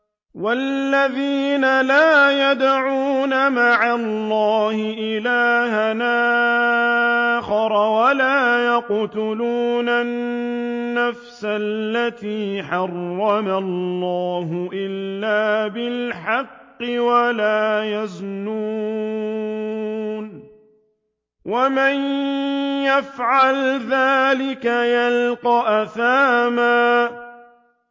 وَالَّذِينَ لَا يَدْعُونَ مَعَ اللَّهِ إِلَٰهًا آخَرَ وَلَا يَقْتُلُونَ النَّفْسَ الَّتِي حَرَّمَ اللَّهُ إِلَّا بِالْحَقِّ وَلَا يَزْنُونَ ۚ وَمَن يَفْعَلْ ذَٰلِكَ يَلْقَ أَثَامًا